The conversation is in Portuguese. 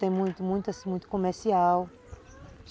Tem muito, muito assim, comercial.